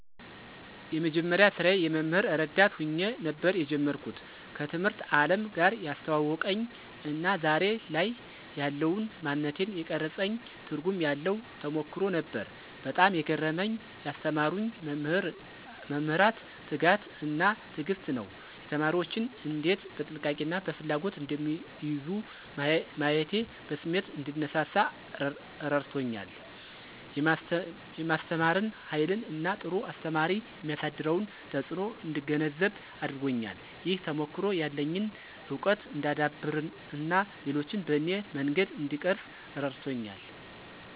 የመጀመሪያ ስራዬ የመምህር ረዳት ሆኜ ነበር የጀመርኩት። ከትምህርት አለም ጋር ያስተዋወቀኝ እና ዛሬ ላይ ያለውን ማንነቴን የቀረፀኝ ትርጉም ያለው ተሞክሮ ነበር። በጣም የገረመኝ ያስተማሩኝ መምህራን ትጋት እና ትዕግስት ነው። ተማሪዎችን እንዴት በጥንቃቄ እና በፍላጎት እንደሚይዙ ማየቴ በስሜት እንድነሳሳ አረድቶኛል። የማስተማርን ሃይልን እና ጥሩ አስተማሪ የሚያሳድረውን ተጽእኖ እንድገነዘብ አድርጎኛል። ይህ ተሞክሮ ያለኝን እውቀት እንዳዳብር እና ሌሎችን በኔ መንገድ እንድቀርፅ እረድቶኛል።